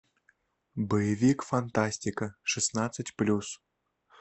боевик фантастика шестнадцать плюс